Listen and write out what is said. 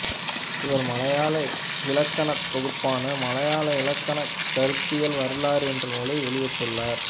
இவர் மலையாள இலக்கணத் தொகுப்பான மலையாள இலக்கணக் கருத்தியல் வரலாறு என்ற நூலை வெளியிட்டுள்ளார்